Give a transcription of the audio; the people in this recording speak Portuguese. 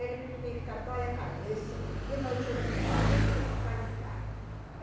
Ele fica, dói a cabeça, de noite ele não dorme, ele fica fadigado.